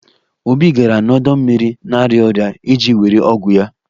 Obi gara n'ọdọ mmiri na-arịa ọrịa iji were ọgwụ ya